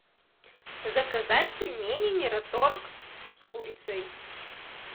заказать пельмени мираторг с курицей